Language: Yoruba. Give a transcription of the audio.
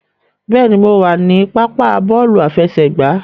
Bẹ́ẹ̀ni, mo wà ní pápá bọ́ọ̀lù aláfẹsẹ̀gbá.